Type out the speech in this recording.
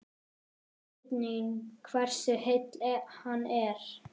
Spurning hversu heill hann er?